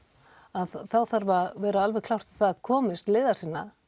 þarf að vera alveg klárt að það komist leiðar sinnar